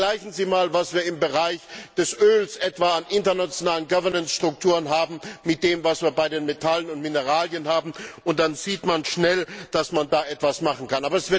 Vergleichen Sie einmal, was wir etwa im Bereich des Öls an internationalen Governance Strukturen haben, mit dem, was wir bei Metallen und Mineralien haben, und dann sieht man schnell, dass man da etwas machen kann.